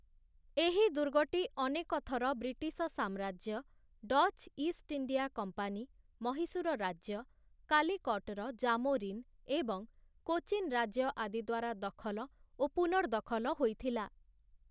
ଏହି ଦୁର୍ଗଟି ଅନେକ ଥର ବ୍ରିଟିଶ ସାମ୍ରାଜ୍ୟ, Dutch East India company, Mysore ରାଜ୍ୟ, କାଲିକଟ୍‌ର ଜାମୋରିନ୍ ଏବଂ କୋଚିନ୍ ରାଜ୍ୟ ଆଦିଦ୍ୱାରା ଦଖଲ ଓ ପୁନର୍ଦଖଲ ହୋଇଥିଲା ।